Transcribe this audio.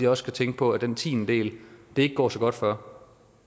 også at tænke på at den tiendedel det ikke går så godt for